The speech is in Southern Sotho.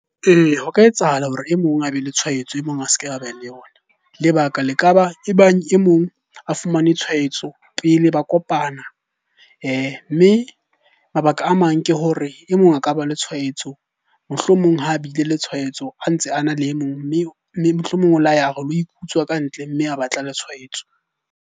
Ee, ho ka etsahala hore e mong a be le tshwaetso e mong a se ke a be le yona. Lebaka le ka ba e bang e mong a fumane tshwaetso pele ba kopana. Mme mabaka a mang ke hore e mong a ka ba le tshwaetso, mohlomong ha bile le tshwaetso ha ntse a na le e mong. Mme mohlomong o la ya a re lo ikutswa ka ntle mme a ba tla le tshwaetso.